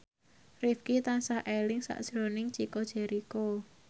Rifqi tansah eling sakjroning Chico Jericho